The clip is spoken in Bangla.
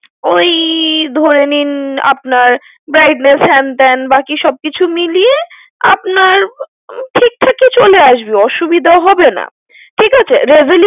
ওই ধরে নিন, আপনার, brightness হ্যান ত্যান বাকি সব কিছু মিলিয়ে, আপনার, ঠিকঠাকই চলে আসবে, অসুবিধা হবেনা। ঠিক আছে? resolu~